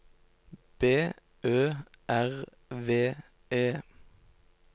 B Ø R V E